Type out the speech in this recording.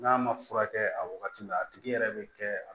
N'a ma furakɛ a wagati la a tigi yɛrɛ bɛ kɛ